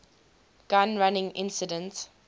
gun running incident